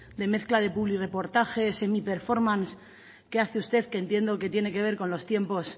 de mezcla de publirreportaje semiperformance que hace usted que entiendo que tiene que ver con los tiempos